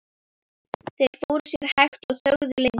Þeir fóru sér hægt og þögðu lengi.